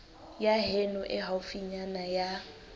ya heno e haufinyana ya